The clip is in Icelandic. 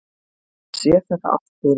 Ég sé þetta allt fyrir mér.